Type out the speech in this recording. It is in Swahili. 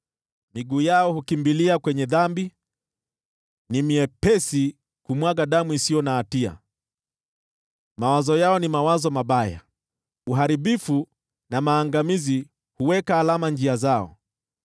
Miguu yao hukimbilia kwenye dhambi, ni myepesi kumwaga damu isiyo na hatia. Mawazo yao ni mawazo maovu; uharibifu na maangamizi huonekana katika njia zao.